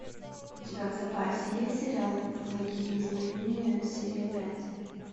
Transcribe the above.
у тебя в запасе есть сериал благие знамения серия пять